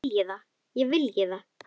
Ég vilji það?